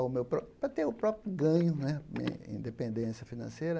ao meu próprio... para ter o próprio ganho independência financeira.